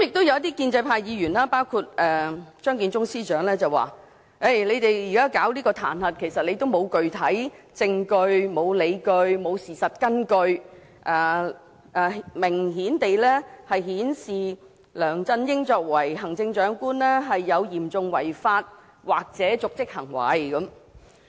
一些建制派議員及張建宗司長說，我們現在啟動彈劾程序，其實沒有具體證據、理據或事實根據，明顯地顯示梁振英作為行政長官有嚴重違法或瀆職行為。